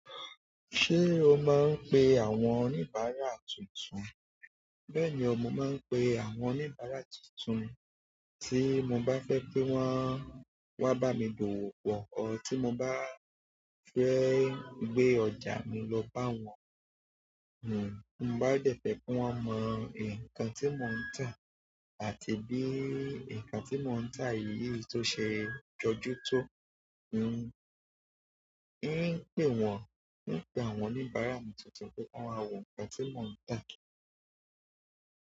Ṣé o máa ń pe àwọn oníbàárà tuntun? Bẹ́ẹ̀ni, mo máa ń pe àwọn oníbàárà tuntun tí mo bá fẹ́ kí wọ́n wá bá mi dòwò pọ̀ ọ́ tí mo bá fẹ́ gbé ọjà mi lọ bá wọn. N ò, mo bá dẹ́fẹ̀ kí wọ́n mọ nǹkan tí mo ń tà àti bí nǹkan tí mo ń tà yìí ṣe jọjútó. N ó, ríì pé wọ́n, ríì pé àwọn oníbàárà tuntun pé wọ́n á wo nǹkan tí mo ń tà.